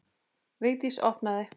Vigdís opnaði.